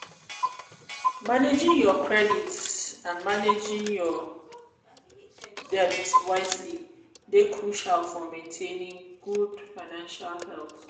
managing your credits and managing your debit wisely dey crucial for maintainng good financial health.